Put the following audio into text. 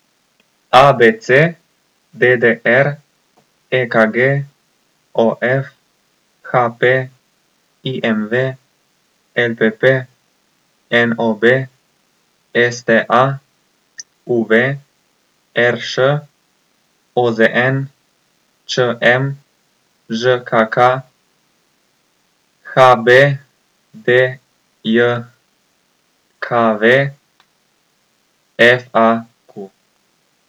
A B C; D D R; E K G; O F; H P; I M V; L P P; N O B; S T A; U V; R Š; O Z N; Č M; Ž K K; H B D J K V; F A Q.